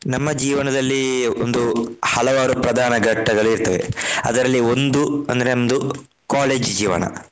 ನಮ್ಮ ಜೀವನದಲ್ಲಿ ಒಂದು ಹಲವಾರು ಪ್ರಧಾನ ಘಟ್ಟಗಳು ಇರ್ತವೆ. ಅದರಲ್ಲಿ ಒಂದು ಅಂದ್ರೆ ನಮ್ದು college ಜೀವನ.